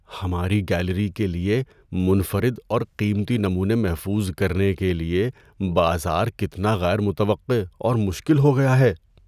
ہماری گیلری کے لیے منفرد اور قیمتی نمونے محفوظ کرنے کے لیے بازار کتنا غیر متوقع اور مشکل ہو گیا ہے۔